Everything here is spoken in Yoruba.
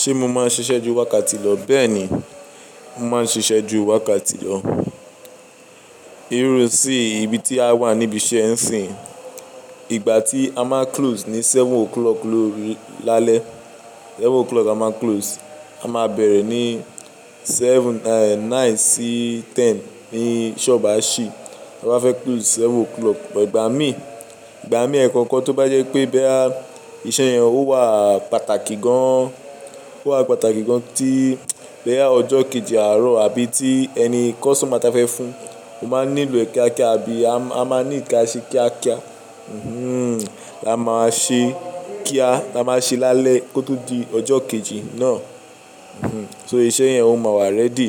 Ṣé mo máa ń ṣiṣẹ́ ju wákàtí lọ? Bẹ́ẹ̀ni, mo máa ń ṣiṣẹ́ ju wákàtí lọ. Irú isín yo ibi tí a wà níbi iṣẹ́ ń siyin. Ìgbà tí a máa close ní seven o'clock lálẹ́, seven o'clock a máa close, a máa bẹ̀rẹ̀ ní seven, nine sí ten ní ṣọ́ọ̀bù á ṣí. A bá fẹ́ close seven o'clock, ìgbà mí, ìgbà mí ẹ̀ẹ̀kan kan tó bá jẹ́ pé boya iṣẹ́ yẹn ó wà pàtàkì gan-an, ó wà pàtàkì gan-an tí báyìí ọjọ́ kejì àárọ̀ àbí tí ẹni customer tá fẹ́ fún, ó máa nílò kíákíá àbí a máa ní ìkáṣẹ́ kíákíá. La máa ṣe kí a, la máa ṣe lálẹ́ kó tó di ọjọ́ kejì náà. So iṣẹ́ yẹn ó máa wà ready.